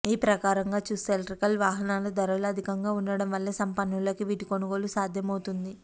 ఈ ప్రకారంగా చూస్తే ఎలక్ట్రిక్ వాహనాల ధరలు అధికంగా ఉండడం వల్ల సంపన్నులకే వీటి కొనుగోలు సాధ్యమవుతుంది